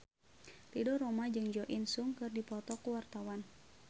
Ridho Roma jeung Jo In Sung keur dipoto ku wartawan